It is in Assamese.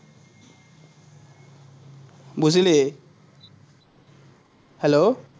বুজিলি। hello